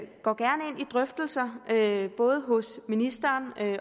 drøftelser både hos ministeren